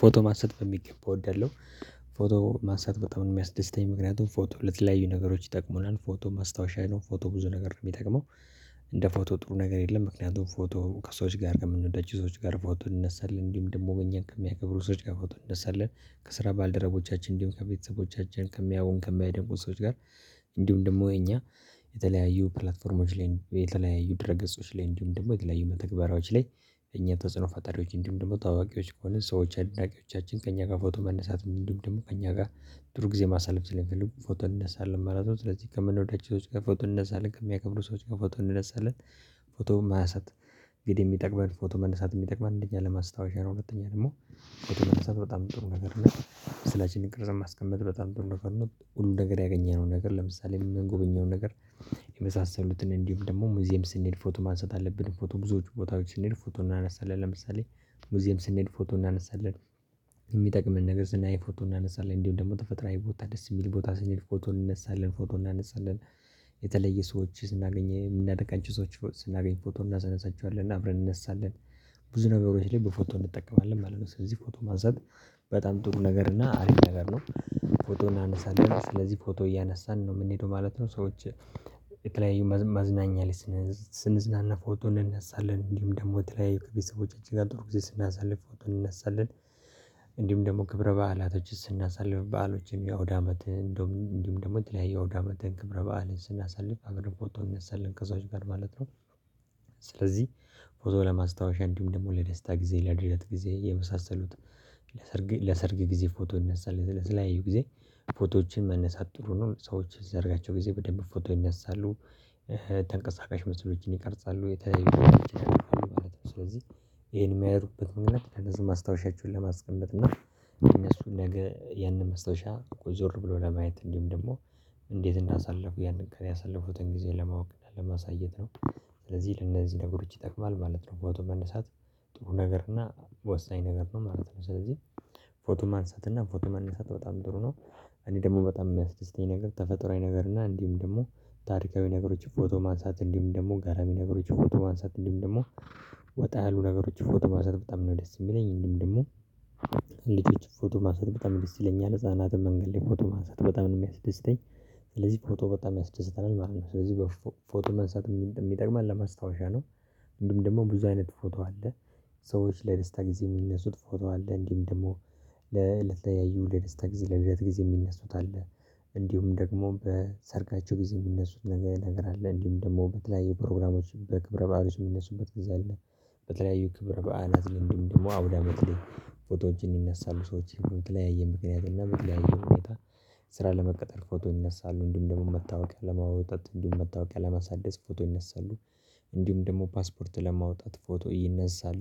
ፎቶ ማንሳት በሚገባ እወዳለሁ። ፎቶ ማንሳት በጣም ነው የሚያስደስተኝ ምክንያቱም ፎቶ ለተለያዩ ነገሮች ይጠቅሙናል ፎቶ ማስታወሻ ነው ፎቶ ብዙ ነገር ነው የሚጠቅመው። እንደ ፎቶ ጥሩ ነገር የለም ምክንያቱም ፎቶ ከሰዎች ጋር ከምንወዳቸው ሰዎች ጋር ፎቶ እንነሳለን እንዲሁም ደግሞ እኛን ከሚያከብሩ ሰዎች ጋር ፎቶ እንነሳለን። ከስራ ባልደረቦቻችን እንዲሁም ከቤተሰቦቻችን ከሚያወን ከማይደንቁ ሰዎች ጋር እንዲሁም ደግሞ የኛ የተለያዩ ፕላትፎርሞች ላይ የተለያዩ ድረ ገጾች ላይ እንዲሁም ደግሞ የተለያዩ መተግበሪዎች ላይ እኛ ተጽኖ ፈጠሪዎች እንዲሁም ደግሞ ታዋቂዎች ከሆነ ሰዎች አድናቂዎቻችን ከእኛ ጋር ፎቶ መነሳትም እንዲሁም ደግሞ ከእኛ ጋር ጥሩ ጊዜ ማሳለፍ ስለሚፈልጉ ፎቶ እንነሳለን ማለት ነው ስለዚህ ከመንወዳቸው ሰዎች ጋር ፎቶ እንነሳለን ከሚያከብሩን ሰዎች ጋር ፎቶ እንነሳለን። ፎቶውም ማንሰት እንግዲህ የሚጠቅመን ፎቶ መነሳት የሚጠቅመን አንደኛ ለማስታወሻ ነው ሁለተኛ ደግሞ በጣም ጥሩ ነገር ነው። ስለዚህ ቀርጸን ማስቀመጥ በጣም ጥሩ ነገር ነው። ሁሉ ነገር ያገኘነው ነገር ለምሳሌ የጎበኘነውን ነገር የመሳሰሉትን እንዲሁም ደግሞ ሙዚየም ስንሄድ ፎቶ ማንሳት አለብን ፎቶ ብዙዎቹ ቦታዎች ስንሄድ ፎቶ እናነሳለን ለምሳሌ ሙዚየም ስንሄድ ፎቶ እናነሳለን። የሚጠቅምን ነገር ስናይ ፎቶ እናነሳለን እንዲሁ ደግሞ ተፈጥሮአዊ ቦታ ደስ የሚል ቦታ ሰንሄድ ፎቶ እንነሳለን ፎቶ እናነሳለን የተለየ ሰዎች ስናገኘው የምናደንቃቸው ሰዎች ስናገኝ ፎቶ እናሰነሳቸዋለን እና አብረን እንነሳለን። ብዙ ነገሮች ላይ በፎቶ እንጠቀማለን ማለት ነው ስለዚህ ፎቶ ማንሳት በጣም ጥሩ ነገር እና አሪፍ ነገር ነው። ፎቶ እናነሳለን ስለዚህ ፎቶ እያነሳን ነው የምንሄደው ማለት ነው ሰዎች የተለያዩ መዝናኛ ስንዝናና ፎቶ እንነሳለን እንዲሁም ደግሞ የተለያዩ ከቤተሰቦቻችን ጋር ጥሩ ጊዜ ስናሳልፍ ፎቶ እንነሳለን። እንዲሁም ደግሞ ክብረ በዓላቶች ስናሳልፍ በዓሎችን ያውድ አመት እንደውም እንዲሁም ደግሞ የተለያየ አውድ አመት ክብረ በዓልን ስናሳልፍ አብረን ፎቶ እንነሳልን ከሰዎች ጋር ማለት ነው። ስለዚህ ፎቶ ለማስታወሻ እንዲሁም ደግሞ ለደስታ ጊዜ ለልደት ጊዜ የመሳሰሉት ለሰርግ ለሰርግ ጊዜ ፎቶ እንነሳልን ስለዚህ ለተለያዩ ጊዜ ፎቶዎችን መነሳት ጥሩ ነው። ሰዎችን የሚያደርጋቸው ጊዜ በደንብ ፎቶ ይነሳሉ ተንቀሳቃሽ ምስሎችን ይቀርጻሉ የተለየዩ ይሄን የሚያደርጉበት መንገድ እነሱ ማስታወሻቸዉን ለማስቀመጥ ነው። የነሱን ነገ ያንን መስታወሻ ዞር ብሎ ለማየት እንዲሁም ደግሞ እንዴት እንዳሳለፉ ያንን ቀን ያሳለፉትን ጊዜ ለማወቅ ለማሳየት ነው። ስለዚህ ለእነዚህ ነገሮች ይጠቅማል ማለት ነው ፎቶ መነሳት ጥሩ ነገር እና ወሳኝ ነገር ነው ማለት ነው። ስለዚህ ፎቶ ማነሳት እና ፎቶ ማንሳት በጣም ጥሩ ነው። እኔ ደግሞ በጣም የሚያስደስተኝ ነገር ተፈጥሮአዊ ነገር እና እንዲሁም ደግሞ ታሪካዊ ነገሮች ፎቶ ማንሳት እንዲሁም ደግሞ ጋራሚ ነገሮች ፎቶ ማንሳት እንዲሁም ደግሞ ወጣ ያሉ ነገሮች ፎቶ ማንሳት በጣም ነው ደስ የሚለኝ እንዲውም ደግሞ ልጆችን ፎቶ ማንሳት በጣም ደስ ይለኛል ህፃናትን መንገድ ላይ ፎቶ ማንሳት በጣም ነው የሚያስደስተኝ። ስለዚህ ፎቶ በጣም ያስደስተናል ማለት ነው ስለዚህ በ ፎቶ ማንሳት የሚጠቅምን ለማስታወሻ ነው። እንዲሁም ደግሞ ብዙ አይነት ፎቶ አለ። ሰዎች ላይ ደስታ ጊዜ የሚነሱት ፎቶ አለ እንዲሁም ደግሞ ለተለያዩ ለደስታ ጊዜ ለልደት ጊዜ የሚነሱት አለ። እንዲሁም ደግሞ በሰርጋቸው ጊዜ የሚነሱት ነገር አለ እንዲሁም ደግሞ በተለያዩ ፕሮግራሞች በክብረ ባአሎች የሚያነሱበት ጊዜ አለ ነው። በተለያዩ ክብር በዓላት እንዲሁም ደግሞ አውዳ አመት ላይ ፎቶዎችን ይነሳሉ ሰዎች የተለያየ ምክንያት እና በትለያየ ሁኔታ ስራ ለመቀጠር ፎቶ ይነሳሉ እንዲሁም ደግሞ መታወቂያ ለማውጣት እንዲሁም መታወቂያ ለማሳደስ ፎቶ ይነሳሉ። እንዲሁም ደግሞ ፓስፖርት ለማውጣት ፎቶ ይነሳሉ።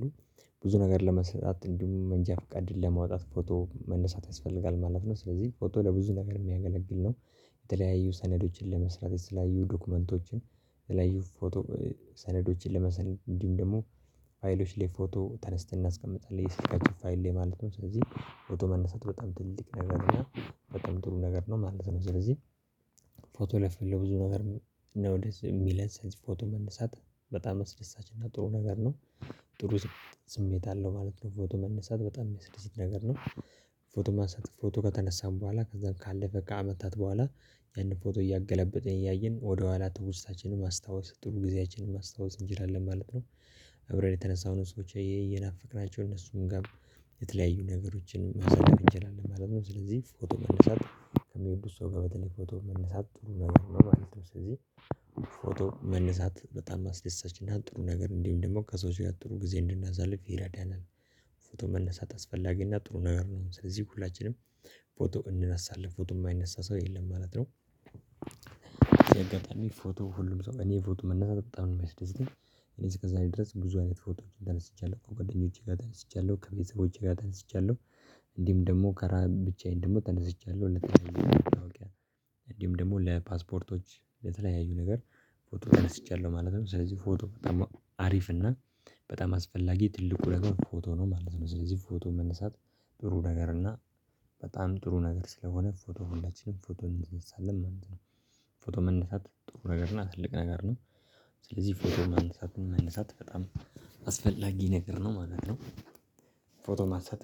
ብዙ ነገር ለመስጠት እንዲሁም መንጃ ፍቃድ ለመውጣት ፎቶ መነሳት ያስፈልጋል ማለት ነው ስለዚህ ፎቶ ለብዙ ነገር የሚያገለግል ነው። የተለያዩ ሰነዶችን ለመስራት የተለያዩ ዶክመንቶችን የተለያዩ ፎቶ ሰነዶችን ለመሰለን እንዲሁም ደግሞ ፋይሎች ላይ ፎቶ ተነስተን እናስቀምጣለን የስልካችን ፋይል ላይ ማለት ነው። ስለዚህ ፎቶ መነሳት በጣም ትልቅ ነገር ነው እና በጣም ጥሩ ነገር ነው ማለት ነው። ስለዚህ ፎቶ ለብዙ ነገር ነው ደስ የሚለን ስለዚህ ፎቶ መነሳት በጣም አስደሳች እና ጥሩ ነገር ነው። ጥሩ ስሜት አለው ማለት ነው ፎቶ መነሳት በጣም የሚስደስት ነገር ነው። ፎቶ ማንሳት ፎቶ ከተነሳን በኋላ ከዛን ካለፈ ከመታት በኋላ ያንን ፎቶ እያገለበጠን እያየን ወደኋላ ትዉስታችንን ማስታወስ ጥሩ ጊዜያችንን ማስታወስ እንችላለን ማለት ነው። እብረን የተነሳውን ሰዎች እየናፈቅናቸው እነሱም ጋር የተለያዩ ነገሮችን ማሳደግ እንችላለን ማለት ነው። ስለዚህ ፎቶ መነሳት ከሚወዱት ሰው በተለይ ፎቶ መነሳት ማለት ነው ስለዚህ ፎቶ መነሳት በጣም አስደሳችና ጥሩ ነገር እንዲሁም ደግሞ ከሰዎች ጋር ጥሩ ጊዜ እንድናሳልፍ ይረዳናል። ፎቶ መነሳት አስፈላጊና ጥሩ ነገር ነው ስለዚህ ሁላችንም ፎቶ እንነሳለን ፎቶ የማይነሳ ሰው የለም ማለት ነው። እንደ አጋጣሚ ፎቶ ሁሉም ሰው እኔ ፎቶ መነሳት በጣም ነው የሚያስደስተኝ እኔ እስከዛሬ ድረስ ብዙ አይነት ፎቶዎችን ተነስቻለሁ ከጓደኞቼ ጋር ተነስቻለሁ ከቤተሰቦቼ ጋር ተነስቻለሁ። እንዲሁም ደግሞ ከራብ ብቻዬን ደግሞ ተነስቻለሁ እንዲሁም ደግሞ ለፓስፖርቶች የተለያዩ ነገር ፎቶ ተነስቻለሁ ማለት ነው። ስለዚህ ፎቶ በጣም አሪፍ እና በጣም አስፈላጊ ትልቁ ደግሞ ፎቶ ነው ማለት ነው። ስለዚህ ፎቶ መነሳት ጥሩ ነገር እና በጣም ጥሩ ነገር ስለሆነ ፎቶ ሁላችንም ፎቶ እንነሳለን ማለት ነው። ፎቶ መነሳት ጥሩ ነገር እና ትልቅ ነገር ነው። ስለዚህ ፎቶ መንሳት ማንሳት በጣም አስፈላጊ ነገር ነው ማለት ነው። ፎቶ ማንሳት